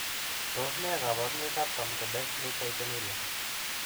Tos nee koborunoikab Camptodactyly taurinuria?